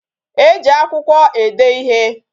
E ji akwụkwọ ede ịhe